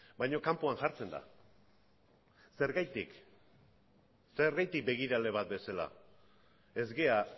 baina kanpoan jartzen da zergatik zergatik begirale bat bezala ez gara